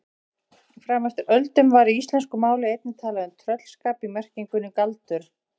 Fram eftir öldum var í íslensku máli einnig talað um tröllskap í merkingunni galdur.